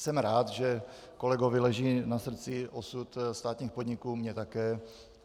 Jsem rád, že kolegovi leží na srdci osud státních podniků, mně také.